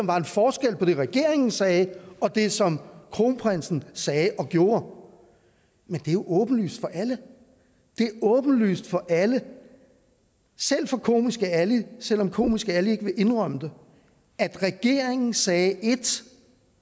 var en forskel på det regeringen sagde og det som kronprinsen sagde og gjorde men det er jo åbenlyst for alle det er åbenlyst for alle selv for komiske ali selv om komiske ali ikke vil indrømme det at regeringen sagde ét